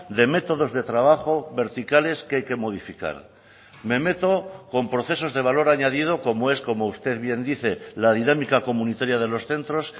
de métodos de trabajo verticales que hay que modificar me meto con procesos de valor añadido como es como usted bien dice la dinámica comunitaria de los centros